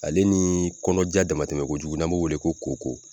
Ale ni kɔnɔja damatɛmɛ kojugu n'an b'o wele ko kookoo.